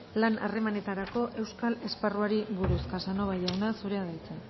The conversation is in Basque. lan harremanetarako euskal esparruari buruz casanova jauna zurea da hitza